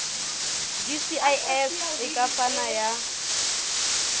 gcis e ka fana ka